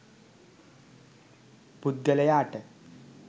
පුද්ගලයාට